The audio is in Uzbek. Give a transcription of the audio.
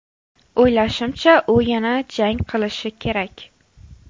O‘ylashimcha, u yana jang qilishi kerak.